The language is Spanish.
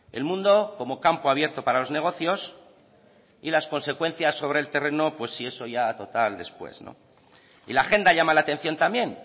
el mundo como campo abierto para los negocios y las consecuencias sobre el terreno pues si eso ya total después no y la agenda llama la atención también